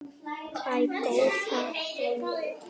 Æ, góða þegiðu.